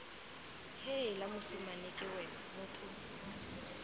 heela mosimane ke wena motho